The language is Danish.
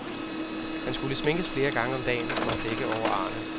Han skulle sminkes flere gange om dagen for at dække over arene.